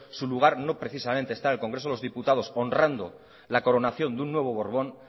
su lugar precisamente no está en el congreso de los diputados honrando la coronación de un nuevo borbón